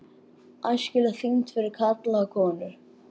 ÆSKILEG ÞYNGD FYRIR KARLA OG KONUR